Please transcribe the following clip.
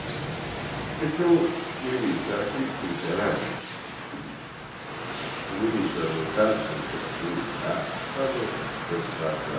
Porque se no início eu era crítico literário, se no início eu era voltado para a literatura e para a arte, quando eu passo a